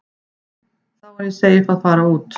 Þá er ég seif að fara út.